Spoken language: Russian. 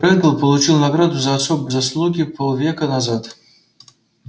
реддл получил награду за особые заслуги полвека назад